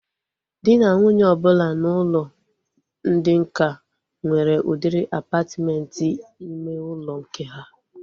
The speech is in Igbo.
Dị na nwunye ọbụla n'ụlọ ndị nká nwere udiri apatmenti ime ụlọ nke ha